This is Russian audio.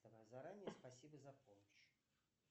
заранее спасибо за помощь